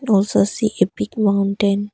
Also see a big mountain.